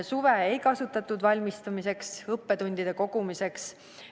Suve ei kasutatud valmistumiseks ja õppetundide kogumiseks.